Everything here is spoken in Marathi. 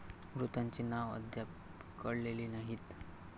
मृतांची नाव अद्याप कळलेली नाहीत.